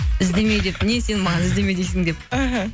іздеме деп не сен маған іздеме дейсің деп іхі